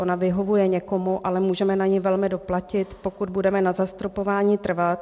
Ona vyhovuje někomu, ale můžeme na ni velmi doplatit, pokud budeme na zastropování trvat.